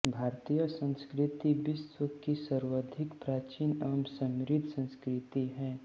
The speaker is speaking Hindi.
भारतीय संस्कृति विश्व की सर्वाधिक प्राचीन एवं समृद्ध संस्कृति है